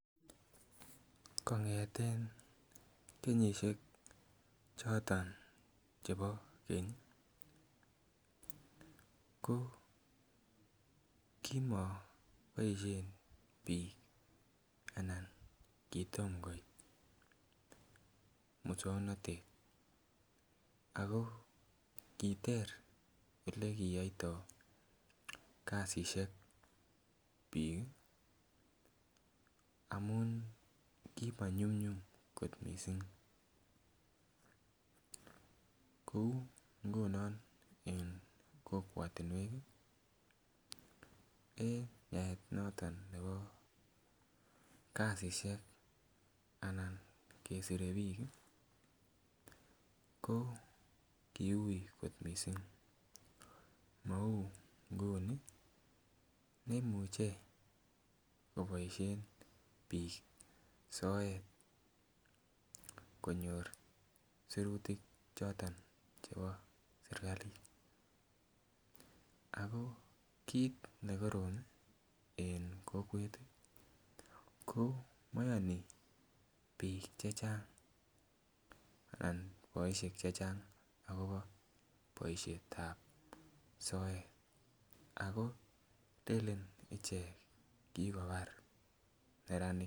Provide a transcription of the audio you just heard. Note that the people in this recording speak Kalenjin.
Kong'eten kenyisiek choton chebo keny ko kimoboisien biik ana kitom koit muswongnotet ako kiter olekiyoitoo kasisiek biik ih amun kimanyumnyum kot missing kou ngunon en kokwotinwek ih en yaet noton nebo kasisiek anan kesire biik ih ko kiui kot missing mou nguni neimuche koboisien biik soet konyor sirutik choton chebo serkalit ako kit nekorom ih en kokwet ih ko moyoni biik chechang ana boisiek chechang akobo boisiet ab soet ako lenen ichek kikobar neranik